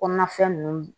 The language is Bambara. Kɔnɔnafɛn ninnu